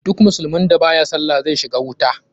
Duk musulmin da baya sallah zai shiga wuta.